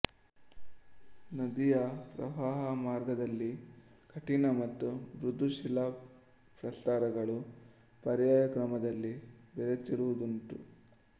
ನದಿಯ ಪ್ರವಾಹಮಾರ್ಗದಲ್ಲಿ ಕಠಿಣ ಮತ್ತು ಮೃದು ಶಿಲಾ ಪ್ರಸ್ತರಗಳು ಪರ್ಯಾಯ ಕ್ರಮದಲ್ಲಿ ಬೆರೆತಿರುವುದುಂಟು